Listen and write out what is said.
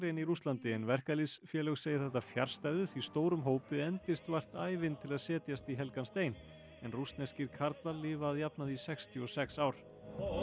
en í Rússlandi en verkalýðsfélög segja þetta fjarstæðu því stórum hópi endist vart ævin til að setjast í helgan stein en rússneskir karlar lifa að jafnaði í sextíu og sex ár